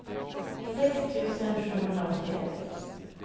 sex tusen sjuhundraåttioett